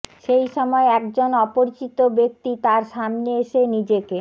সেই সময় একজন অপরিচিত ব্যক্তি তাঁর সামনে এসে নিজেকে